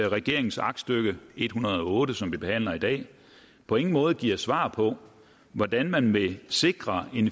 regeringens aktstykke en hundrede og otte som vi behandler i dag på ingen måde giver svar på hvordan man vil sikre